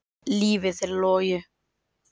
Lífið er logi.